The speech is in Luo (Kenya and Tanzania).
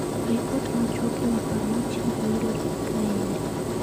Ripot machuok e wi paro mochiwgo yudore kaendi.